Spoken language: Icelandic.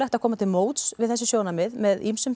að koma til móts við þessi sjónarmið með ýmsum